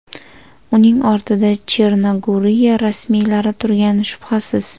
Uning ortida Chernogoriya rasmiylari turgani shubhasiz.